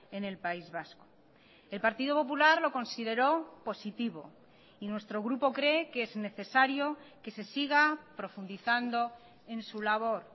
en el país vasco el partido popular lo consideró positivo y nuestro grupo cree que es necesario que se siga profundizando en su labor